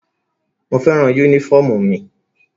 Mo fẹ́ràn yúnífọ̀mù mi